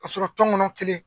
Ka sɔrɔ tɔngɔnɔ kelen.